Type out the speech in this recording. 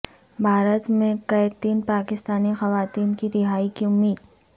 بھارت میں قید تین پاکستانی خواتین کی رہائی کی امید